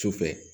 Sufɛ